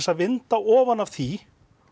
að vinda ofan af því